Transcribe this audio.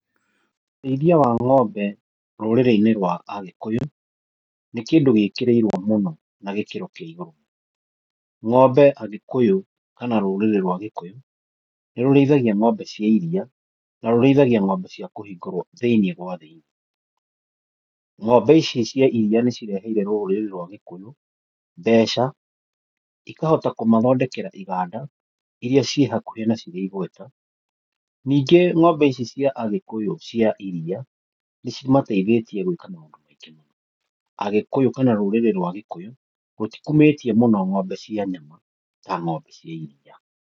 Ũrĩithia wa ngómbe rũrĩrĩ-inĩ rwa a Gikũyũ, nĩ kĩndũ gĩkĩrĩirwo mũno na gĩkĩro kĩa igũrũ. Ngómbe a Gikũyũ kana rũrĩrĩ rwa Gikũyũ, nĩ rũrĩithagia ngómbe cia iria, na rũrĩithagia cia kũhingĩrwo thĩiniĩ gwa thĩiniĩ. Ngómbe ici cia iria nĩ cireheire rũrĩrĩ rwa Gikũyũ mbeca, ikahota kũmathondekera iganda iria ciĩ hakuhe na cirĩ igweta. Ningĩ ngómbe icia cia a Gikũyũ cia iria, nĩ cimateithĩtie gwĩka maũndũ maingĩ mũno. Agikũyũ kana rũrĩrĩ rwa Gikũyũ, rũtikumĩtie mũno ngómbe cia nyama ta ngómbe cia iria.